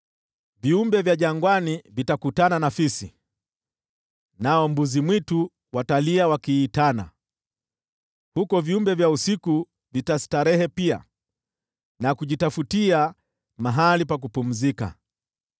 Viumbe vya jangwani vitakutana na fisi, nao mbuzi-mwitu watalia wakiitana; huko viumbe vya usiku vitastarehe pia na kujitafutia mahali pa kupumzika.